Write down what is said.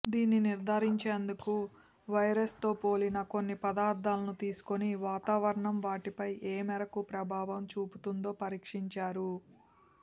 దీన్ని నిర్ధారించేందుకు వైరస్తో పోలిన కొన్ని పదార్థాలను తీసుకుని వాతావరణం వాటిపై ఏమేరకు ప్రభావం చూపుతుందో పరీక్షించారు